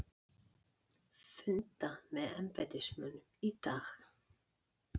Funda með embættismönnum í dag